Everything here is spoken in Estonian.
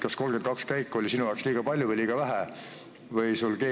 Kas 32 käiku oli sinu jaoks liiga palju või liiga vähe?